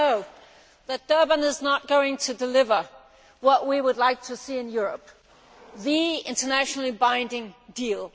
We all know that Durban is not going to deliver what we would like to see in Europe the internationally binding deal.